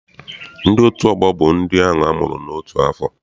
Ndị otu ọgbọ bụ ndị amụrụ n'otu afọ.